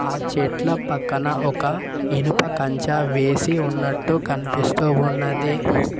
ఆ చెట్ల పక్కన ఒక ఇనుప కంచ వేసి ఉన్నట్టు కనిపిస్తూ ఉన్నది.